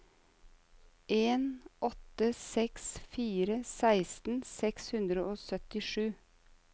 en åtte seks fire seksten seks hundre og syttisju